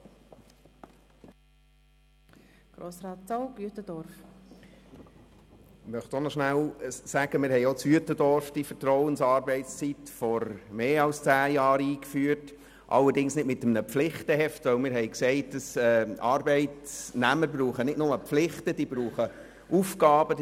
Allerdings stellte ich danach auf meinem Samstagsspaziergang jeweils fest, dass das Auto des einen Chefbeamten immer vor dem Büro stand.